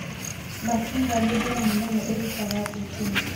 Masinga nĩ damu nene ĩrutaga thitima.